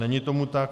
Není tomu tak.